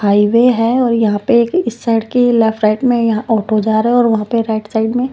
highway है और यहां पे इस साइड के लेफ्ट राइट में यहां ऑटो जा रहा है और वहां पे राइट साइड में--